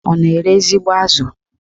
Ọ na-ere ezigbo azụ?